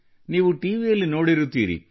ನೀವು ಟಿವಿಯಲ್ಲಿ ನೋಡಿರುತ್ತೀರಿ